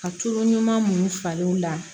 Ka tulu ɲuman munnu falen la